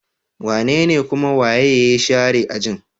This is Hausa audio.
Wanene kuma waye ya share ajin?